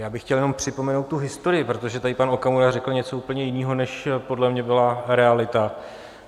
Já bych chtěl jenom připomenout tu historii, protože tady pan Okamura řekl něco úplně jiného, než podle mě byla realita.